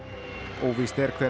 óvíst er hver